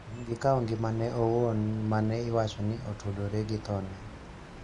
gi kawo ngimane owuon ma ne iwacho ni otudore gi thone.